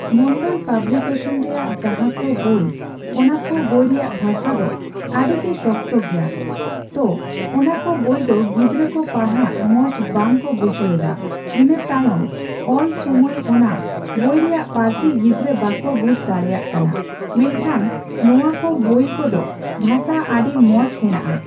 ᱢᱚᱱᱰᱚᱞ publication ᱨᱮᱭᱟᱜ ᱡᱟᱦᱟᱸᱠᱚ ᱵᱚᱭ ᱚᱱᱟᱠᱚ ᱵᱚᱭᱨᱮᱭᱟᱜ ᱵᱷᱟᱥᱟ ᱫᱚ ᱟᱹᱰᱤᱜᱮ ᱥᱚᱠᱛᱚ ᱜᱮᱭᱟ ᱛᱚ ᱚᱱᱟᱠᱚ ᱵᱚᱭ ᱫᱚ ᱜᱤᱫᱽᱨᱟᱹᱠᱩ ᱯᱟᱲᱦᱟᱜ ᱢᱚᱪ ᱵᱟᱝᱠᱚ ᱵᱩᱡᱷᱟᱹᱣᱮᱫᱟ ᱤᱱᱟᱹ ᱛᱟᱭᱚᱢ ᱚᱞ ᱥᱩᱢᱟᱹᱭ ᱚᱱᱟ ᱵᱚᱭᱨᱮᱭᱟᱜ ᱯᱟᱨᱥᱤ ᱜᱤᱫᱽᱨᱟᱹ ᱵᱟᱠᱚ ᱵᱩᱡᱷ ᱫᱟᱲᱮᱭᱟᱜ ᱠᱟᱱᱟ ᱾ᱢᱮᱱᱠᱷᱟᱱ ᱱᱚᱣᱟᱠᱚ ᱵᱚ ᱠᱚᱫᱚ ᱵᱷᱟᱥᱟ ᱟᱰᱤ ᱢᱚᱪ ᱦᱮᱱᱟᱜ ᱟ ᱾